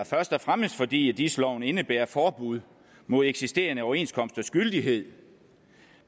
først og fremmest fordi dis loven indebærer forbud mod eksisterende overenskomsters gyldighed